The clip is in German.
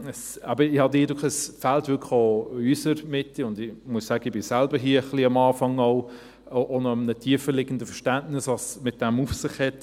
Ich habe den Eindruck, es fehle wirklich auch in unserer Mitte – und ich muss sagen, ich bin selbst hier auch am Anfang auch von einem tieferliegenden Verständnis ausgegangen, was es damit auf sich hat.